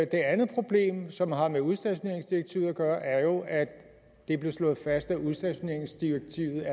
andet problem som har med udstationeringsdirektivet at gøre er jo at det blev slået fast at udstationeringsdirektivet